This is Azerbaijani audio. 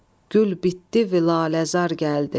Gül bitdi, vilaləzar gəldi.